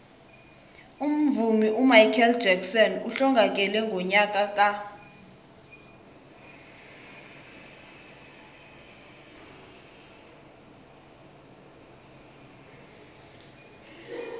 umvumi umichael jackson uhlongakele ngonyaka ka